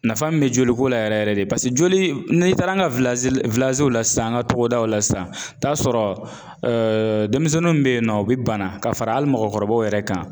Nafa min bɛ joliko la yɛrɛ yɛrɛ de joli n'i taara an ka la sisan an ka togodaw la sisan i bɛ t'a sɔrɔ ɛɛ denmisɛnninw bɛ yen nɔ u bɛ bana ka fara hali mɔgɔkɔrɔbaw yɛrɛ kan